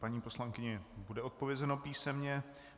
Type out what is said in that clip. Paní poslankyni bude odpovězeno písemně.